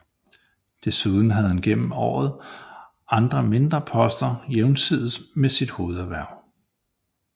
Desuden havde han gennem årene andre mindre poster jævnsides med sine hovederhverv